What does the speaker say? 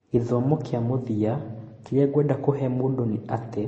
Gĩthomo gĩa mũthia kĩrĩa ngwenda kũhe mũndũ nĩ atĩ